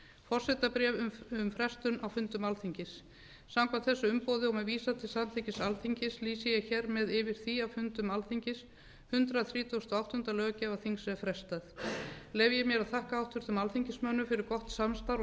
forsetabréf um frestun á fundum alþingis samkvæmt þessu umboði og með vísan til samþykkis alþingis lýsi ég hér með yfir því að fundum alþingis hundrað þrítugasta og áttunda löggjafarþings er frestað leyfi ég mér að þakka háttvirtum alþingismönnum fyrir gott samstarf og